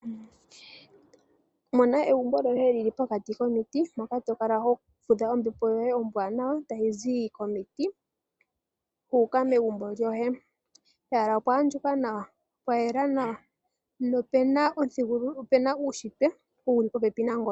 Mona egumbo lyoye lyili pokati komiti, moka to kala ho fudha ombepo yoye ombwaanawa tayi zi komiti yu uka megumbo lyoye. Pehala opwa andjuka nawa, pwa yela nawa nopuna uunshitwe wuli popepi nangoye.